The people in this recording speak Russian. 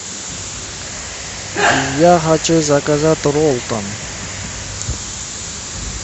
я хочу заказать роллтон